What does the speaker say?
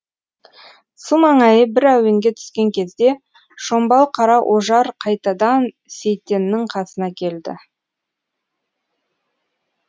су маңайы бір әуенге түскен кезде шомбал қара ожар қайтадан сейтеннің қасына келді